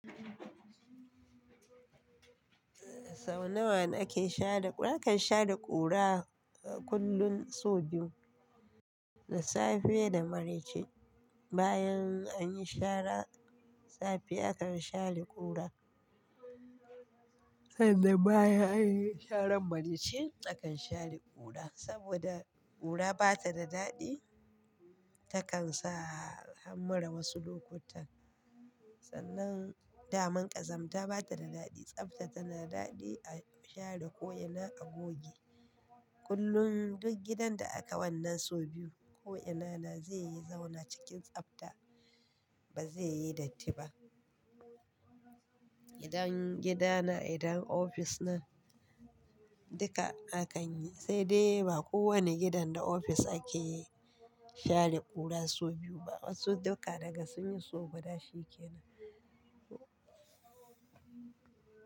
Sau nawa nake share ƙu? Nakan share ƙura kullum sau biyu, da safe da maraice. Bayan an yi shara safe nakan share ƙura, sannan bayan an yi sharan maraice nakan share ƙura. Saboda ƙura bata da daɗi, takan sa hammura wasu lokutan. Sannan daman ƙazamta bata da daɗi, tsafta tana daɗi a share ko'ina a goge. Kullum duk gidan da aka wannan sau biyu ko'ina na zai yi zauna cikin tsafta ba zai yi datti ba. Idan gida na, idan ofis nan duka akan yi, sai dai ba kowane gidan da ofis ake share ƙura sau biyu ba. Wasu duka daga sun yi so, guda shi kenan.